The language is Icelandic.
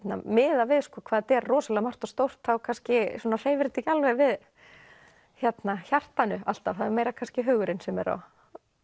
miðað við hvað er rosalega margt og stórt þá kannski svona hreyfir þetta ekki alveg við hjartanu alltaf það er meira kannski hugurinn sem er á